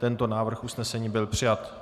Tento návrh usnesení byl přijat.